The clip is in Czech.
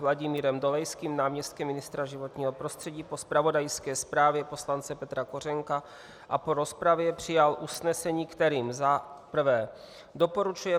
Vladimírem Dolejským, náměstkem ministra životního prostředí, po zpravodajské zprávě poslance Petra Kořenka a po rozpravě přijal usnesení, kterým za prvé doporučuje